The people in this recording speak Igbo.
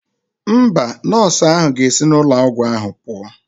Mba, nọọsụ ahụ ga-esi n'ụlọ ọgwụ ahụ pụọ.